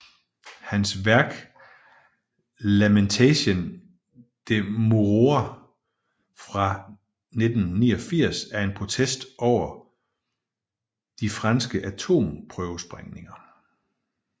Hans værk Lamentation de Moruroa fra 1989 er en protest over de franske atomprøvesprængninger